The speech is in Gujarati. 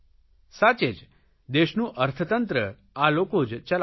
સાચે જ દેશનું અર્થતંત્ર આ લોકો જ ચલાવે છે